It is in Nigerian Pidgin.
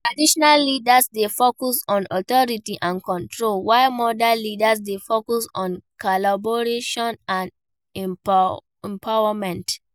Traditional leaders dey focus on authority and control, while modern leaders dey focus on collaboration and empowerment.